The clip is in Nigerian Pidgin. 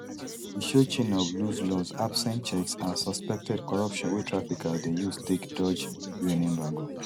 e show chain of loose laws absent checks and suspected corruption wey traffickers dey use take dodge un embargo